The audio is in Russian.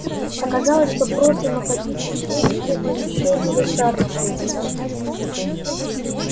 оказалось что просто находиться здесь это ещё недостаточно